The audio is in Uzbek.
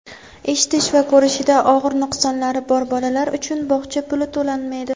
eshitish va ko‘rishida og‘ir nuqsonlari bor bolalar uchun bog‘cha puli to‘lanmaydi.